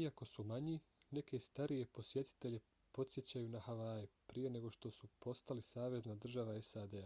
iako su manji neke starije posjetitelje podsjećaju na havaje prije nego što su postali savezna država sad